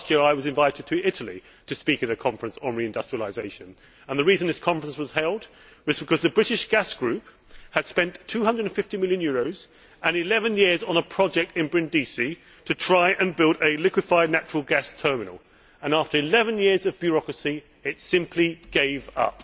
Last year I was invited to Italy to speak at a conference on reindustrialisation, and the reason this conference was held was because the British Gas Group had spent EUR 250 million and 11 years on a project in Brindisi to try and build a liquefied natural gas terminal, and after 11 years of bureaucracy, it simply gave up.